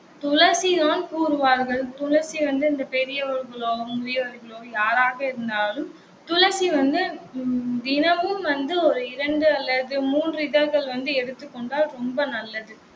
துளசிதான் கூறுவார்கள். துளசி வந்து இந்த பெரியவர்களோ, முதியோர்களோ யாராக இருந்தாலும் துளசி வந்து உம் தினமும் வந்து ஒரு இரண்டு அல்லது மூன்று இதழ்கள் வந்து எடுத்துக் கொண்டால் ரொம்ப நல்லது.